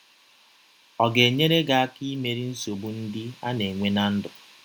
Ọ̀ ga - enyere gị aka imeri nsọgbụ ndị a na - enwe ná ndụ?